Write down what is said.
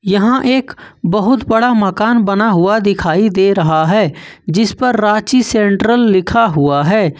यहां एक बहुत बड़ा मकान बना हुआ दिखाई दे रहा है जिस पर रांची सेंट्रल लिखा हुआ है।